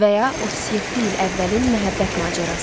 Və ya 37 il əvvəlin məhəbbət macərası.